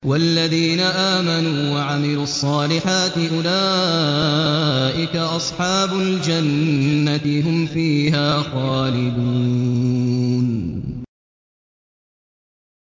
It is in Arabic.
وَالَّذِينَ آمَنُوا وَعَمِلُوا الصَّالِحَاتِ أُولَٰئِكَ أَصْحَابُ الْجَنَّةِ ۖ هُمْ فِيهَا خَالِدُونَ